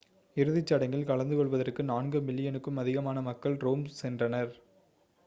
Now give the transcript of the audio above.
இறுதிச்சடங்கில் கலந்துகொள்வதற்கு நான்கு மில்லியனுக்கும் அதிகமான மக்கள் ரோம் சென்றனர்